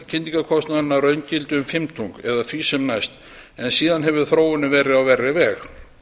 lækkaði kyndingarkostnaðurinn að raungildi um fimmtung eða því sem næst en síðan hefur þróunin verið á verri veg